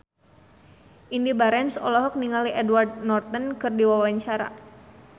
Indy Barens olohok ningali Edward Norton keur diwawancara